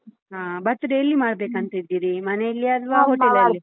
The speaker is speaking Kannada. Birthday ಎಲ್ಲಿ ಮಾಡ್ಬೇಕಂತಿದ್ದೀರಿ ಮನೇಲ್ಲಿಯಾ ಅಲ್ವಾ hotel ಅಲ್ಲಿ?